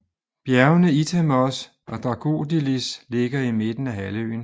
Bjergene Itamos og Dragoudelis ligger i midten af halvøen